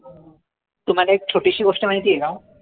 तुम्हाला एक छोटीशी गोष्ट माहिती आय का?